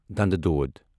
دَندٕ دود